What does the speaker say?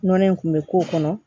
Nɔnɔ in kun bɛ k'o kɔnɔ